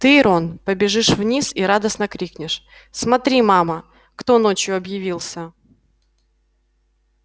ты рон побежишь вниз и радостно крикнешь смотри мама кто ночью объявился